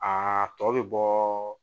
Aa tɔ bɛ bɔɔ